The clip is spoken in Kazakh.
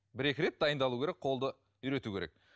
бір екі рет дайындалу керек қолды үйрету керек